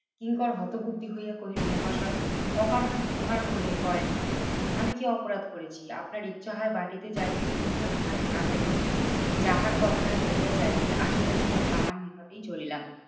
কিঙ্কর হতবুদ্ধি হইয়া কহিলো মহাশয়, অকারণে প্রহার করে করেন কেন? আমি কি অপরাধ করেছি? আপনার ইচ্ছা হয় বাটিতে যাইবেন। ইচ্ছা না হয় না যাইবেন। যাহার কথায় লইয়া যাইতে আসিয়াছিলাম তাহার নিকটেই চলিলাম।